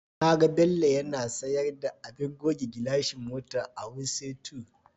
Na ga Bello yana sayar da abin goge gilashi mota a Wuse 2.